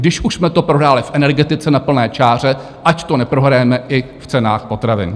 Když už jsme to prohráli v energetice na plné čáře, ať to neprohrajeme i v cenách potravin.